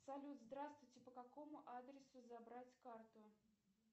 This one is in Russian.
салют здравствуйте по какому адресу забрать карту